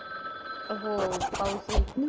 हो पाऊस हि खूप लेट